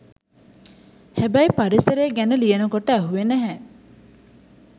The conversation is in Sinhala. හැබැයි පරිසරය ගැන ලියනකොට ඇහුවෙ නැහැ